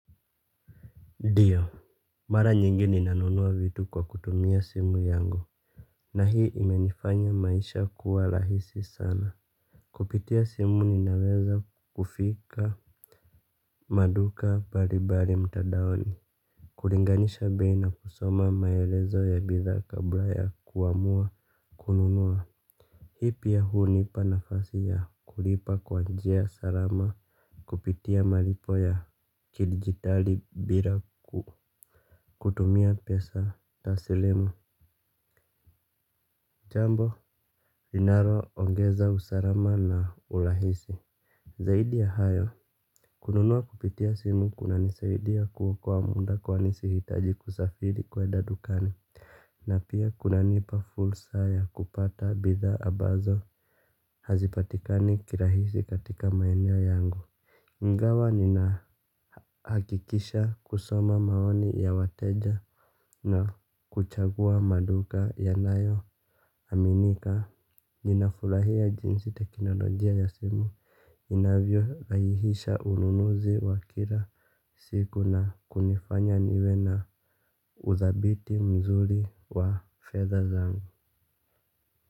Ndio. Mara nyingi ninanunua vitu kwa kutumia simu yangu. Na hii imenifanya maisha kuwa rahisi sana. Kupitia simu ninaweza kufika maduka mbalimbali mtandaoni. Kulinganisha bei na kusoma maelezo ya bidhaa kabla ya kuamua. Kununua. Hii pia hunipa nafasi ya kulipa kwa njia salama. Kupitia malipo ya kidigitali bila kutumia pesa Tasilimu Jambo, linaloongeza, usalama na urahisi. Zaidi ya hayo. Kununua kupitia simu kunanisaidia kuokoa muda kwani sihitaji kusafiri kwenda dukani. Na pia kunanipa fursa ya kupata bidhaa ambazo hazipatikani kirahisi katika maeneo yangu ingawa ninahakikisha kusoma maoni ya wateja na kuchagua maduka yanayo aminika, ninafurahia jinsi teknolojia ya simu inavyorahisisha ununuzi wa kila siku na kunifanya niwe na udhabiti mzuri wa fedha zangu.